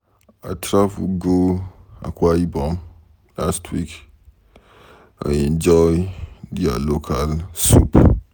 I travel go Akwa Ibom last week. I enjoy their local soup.